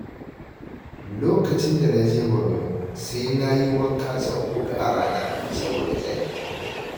Lokacin da na je Borno sai na yi wanka sau huɗu a rana, saboda zafi.